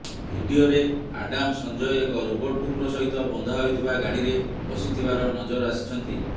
ଭିଡିଓରେ ଆଡାମ ସଞ୍ଜୟ ଏକ ରୋବଟ କୁକୁର ସହିତ ବନ୍ଧା ହୋଇଥିବା ଗାଡିରେ ବସିଥିବାର ନଜର ଆସିଛନ୍ତି